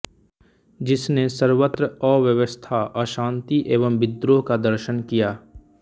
जिसने सर्वत्र अव्यवस्था अषांति एवं विद्रोह का दर्शन किया